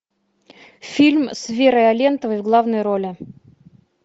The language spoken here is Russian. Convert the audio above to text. фильм с верой алентовой в главной роли